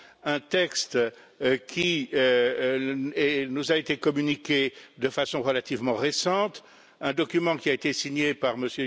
un texte qui nous a été communiqué de façon relativement récente, un document qui a été signé par M.